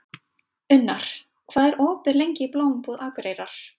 Unnar, hvað er opið lengi í Blómabúð Akureyrar?